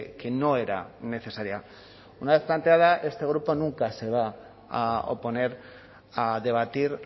que no era necesaria una vez planteada este grupo nunca se va a oponer a debatir